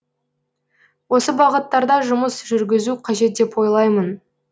осы бағыттарда жұмыс жүргізу қажет деп ойлаймын